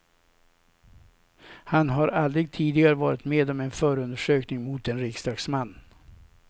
Han har aldrig tidigare varit med om en förundersökning mot en riksdagsman.